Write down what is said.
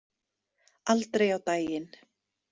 Aldrei á daginn.